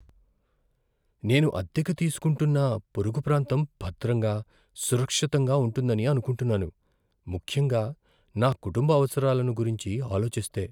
నేను అద్దెకు తీసుకుంటున్న పొరుగు ప్రాంతం భద్రంగా, సురక్షితంగా ఉంటుందని అనుకుంటున్నాను, ముఖ్యంగా నా కుటుంబ అవసరాలను గురించి ఆలోచిస్తే.